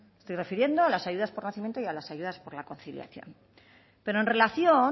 me estoy refiriendo a las ayudas por nacimiento y a las ayudas por la conciliación pero en relación